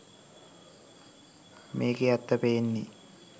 මේකෙ ඇත්ත පේන්නෙ